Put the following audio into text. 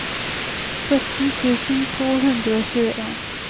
sytten tusen to hundre og tjueen